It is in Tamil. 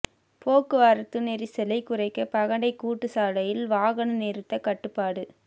போக்குவரத்து நெரிசலை குறைக்க பகண்டை கூட்டு சாலையில் வாகனம் நிறுத்த கட்டுப்பாடு